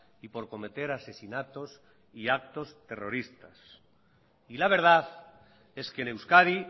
y por cometer asesinatos y actos terroristas y la verdad es que en euskadi